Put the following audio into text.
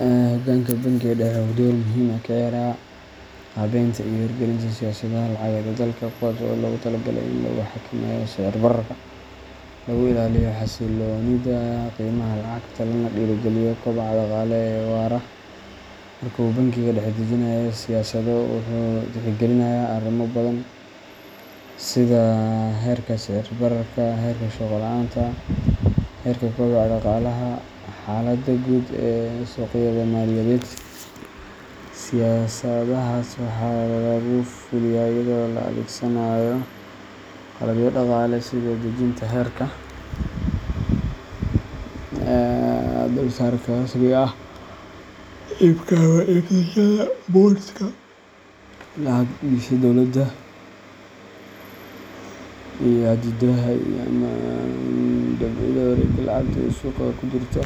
Hoggaanka bangiga dhexe wuxuu door muhiim ah ka ciyaaraa qaabeynta iyo hirgelinta siyaasadaha lacageed ee dalka, kuwaas oo loogu talagalay in lagu xakameeyo sicir-bararka, lagu ilaaliyo xasilloonida qiimaha lacagta, lana dhiirrigeliyo kobaca dhaqaale ee waara. Marka uu bangiga dhexe dejinayo siyaasado, wuxuu tixgelinayaa arrimo badan sida heerka sicir-bararka, heerka shaqo la’aanta, heerka kobaca dhaqaalaha, iyo xaaladda guud ee suuqyada maaliyadeed. Siyaasadahaas waxaa lagu fuliyaa iyada oo la adeegsanayo qalabyo dhaqaale sida dejinta heerka dulsaarka rasmiga ah, iibka ama iibsashada bondska lacag-dhigashada dawladda, iyo xaddidaadda ama dabciidda wareegga lacagta ee suuqa ku jirta.